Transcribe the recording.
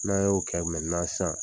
N'a y'o kɛ mɛntenan sisan